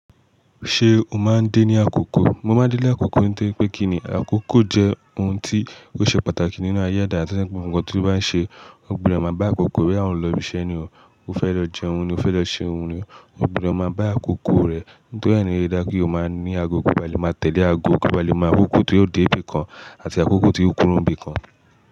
Ṣé o máa ń dé ní àkókò? Mo máa ń dé ní àkókò nítorí pé kí ni àkókò jẹ́ ohun tí ó ṣe pàtàkì nínú ayé ẹ̀dá tí ó jẹ́ pẹ́ gbogbo ǹkan tí ó bá ń ṣe o. Ogbodo má bá àkókò bóyá ò ń lọ ibiṣẹ́ ni, o fẹ́ lọ jẹun ni o, o fẹ́ lọ ṣe irun ni o. Ogbodo má bá àkókò rẹ̀, nítorí ẹ ni ó ṣe dá kí ó máa ní àgo kí ó bá lè máa tẹ̀lé àgo kí ó bá lè mọ àkókò tí ó dé ibi kan àti àkókò tí ó kúrò ní ibi kan.